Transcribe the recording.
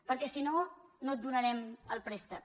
perquè si no no et donarem el préstec